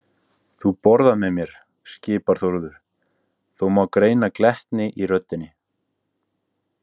Þú borðar með mér, skipar Þórður, þó má greina glettni í röddinni.